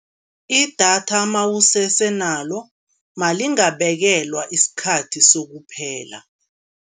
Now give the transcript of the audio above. Idatha nawusese nalo nalingabekelwa isikhathi sokuphela.